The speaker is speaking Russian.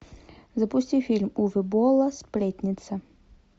запусти фильм уве болла сплетница